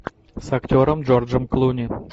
с актером джорджем клуни